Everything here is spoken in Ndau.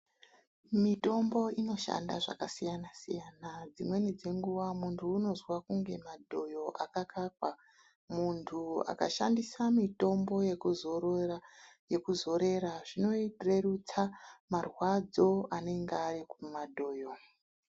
Mitombo inoshanda zvakasiyana-siyana. Dzimweni dzenguwa muntu unozwa kunge madhoyo akakakwa, muntu akashandisa mitombo yekuzorera zvinorerusa marwadzo anenge ari kumadhoyo.